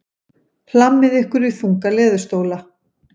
Hlammið ykkur í þunga leðurstóla.